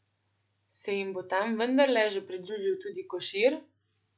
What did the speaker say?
Se jim bo tam vendarle že pridružil tudi Košir?